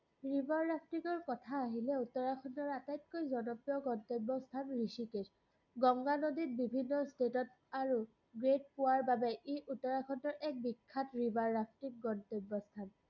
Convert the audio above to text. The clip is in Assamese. river rafting ৰ কথা আহিলে উত্তৰাখণ্ডৰ আটাইতকৈ জনপ্ৰিয় গন্তব্য স্থান ৰিষিকেশ। গংগা নদীত বিভিন্ন state ত আৰু grade পোৱাৰ বাবে ই উত্তৰাখণ্ডৰ এক বিখ্যাত river rafting গন্তব্য স্থান।